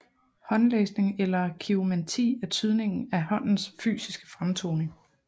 Håndlæsning eller kiromanti er tydning af håndens fysisk fremtoning